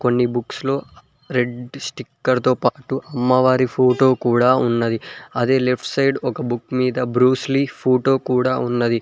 కొన్ని బుక్స్ లో red sticker తో పాటు అమ్మవారి ఫోటో కూడా ఉన్నది అదే లెఫ్ట్ సైడ్ ఒక బుక్ మీద బ్రూస్లీ ఫోటో కూడా ఉన్నది.